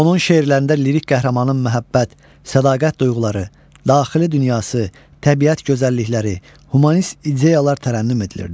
Onun şeirlərində lirik qəhrəmanın məhəbbət, sədaqət duyğuları, daxili dünyası, təbiət gözəllikləri, humanist ideyalar tərənnüm edilirdi.